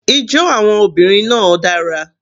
Ijó àwọn obìnrin náà dara.